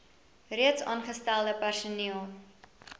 reeds aangestelde personeel